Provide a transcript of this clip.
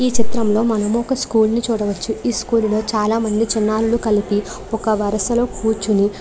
ఈ చిత్రం లో మనము ఒక స్కూల్ ని చూడవచ్చు ఈ స్కూల్ లో చాలా మంది చిన్నారులు కలిపి ఒక వరుసలో కూర్చుని --